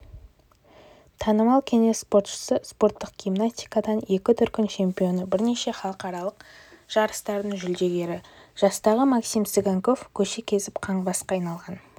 танымал кеңес спортшысы спорттық гимнастикадан екі дүркін чемпионы бірнеше халықаралық жарыстардың жүлдегері жастағы максим цыганков көше кезіп қаңғыбасқа айналған